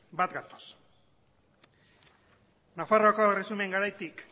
bat gatoz nafarroa erresumaren garaitik